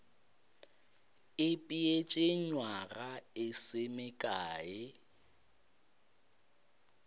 ipeetše nywaga e se mekae